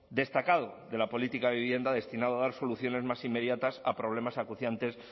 destacado de la política de vivienda destinado a dar soluciones más inmediatas a problemas acuciantes